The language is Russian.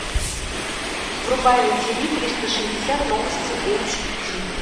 врубай на ти ви триста шестьдесят новости эйч ди